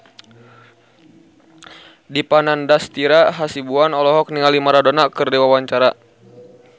Dipa Nandastyra Hasibuan olohok ningali Maradona keur diwawancara